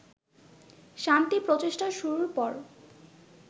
শান্তি প্রচেষ্টা শুরুর পর